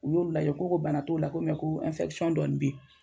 U y'olu lajɛ , u ko ko bana t'o la ko mɛ ko an dɔɔnin bɛ yen.